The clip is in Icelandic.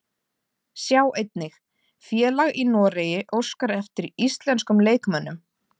Sjá einnig: Félag í Noregi óskar eftir íslenskum leikmönnum